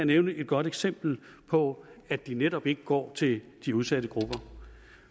nævne et godt eksempel på at de netop ikke går til de udsatte grupper